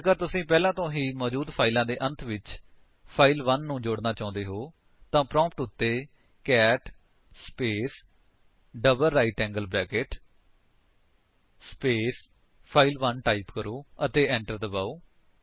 ਹੁਣ ਜੇਕਰ ਤੁਸੀ ਪਹਿਲਾਂ ਤੋਂ ਹੀ ਮੌਜੂਦ ਫਾਇਲ ਦੇ ਅੰਤ ਵਿੱਚ ਫਾਈਲ1 ਨੂੰ ਜੋੜਨਾ ਚਾਹੁੰਦੇ ਹੋ ਤਾਂ ਪ੍ਰੋਂਪਟ ਉੱਤੇ cat space double right angle bracket space file one type ਕਰੋ ਅਤੇ enter ਦਬਾਓ